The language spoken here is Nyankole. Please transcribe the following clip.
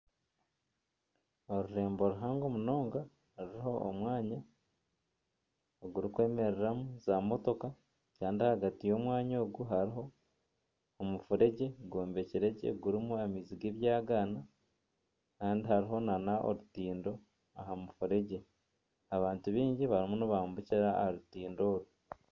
Orurembo ruhango munonga ruriho omwanya ogurikwemereramu za motoka kandi ahagati y'omwanya ogu hariho omufuregye gw'ombekire gye harimu amaizi ag'ebyagaana kandi hariho nana orutindo aha mufuregye abantu baingi barimu nibambukira aha rutindo oru.